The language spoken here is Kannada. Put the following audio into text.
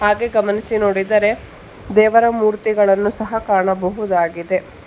ಗೆ ಗಮನಿಸಿ ನೋಡಿದರೆ ದೇವರ ಮೂರ್ತಿಗಳನ್ನು ಸಹ ಕಾಣಬಹುದಾಗಿದೆ.